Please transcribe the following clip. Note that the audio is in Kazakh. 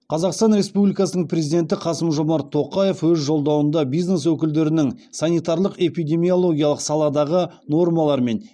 қазақстан республикасының президенті қасым жомарт тоқаев өз жолдауында бизнес өкілдерінің санитарлық эпидемиологиялық саладағы нормалар мен